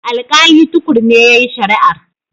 Alƙali Tukur ne yayi shari'ar.